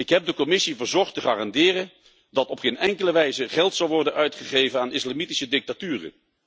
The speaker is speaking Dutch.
Ik heb de Commissie verzocht te garanderen dat op geen enkele wijze geld zal worden uitgegeven aan islamitische dictaturen.